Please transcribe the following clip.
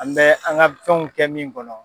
An bɛ an ka fɛnw kɛ min kɔnɔ.